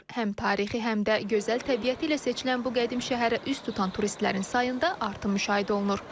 Həm tarixi, həm də gözəl təbiəti ilə seçilən bu qədim şəhərə üz tutan turistlərin sayında artım müşahidə olunur.